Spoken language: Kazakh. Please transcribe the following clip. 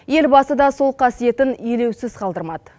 елбасы да сол қасиетін елеусіз қалдырмады